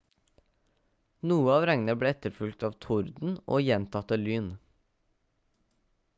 noe av regnet ble etterfulgt av torden og gjentatte lyn